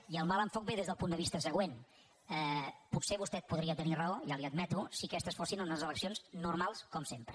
i el mal enfocament ve des del punt de vista següent potser vostè podria tenir raó ja li ho admeto si aquestes fossin unes eleccions normals com sempre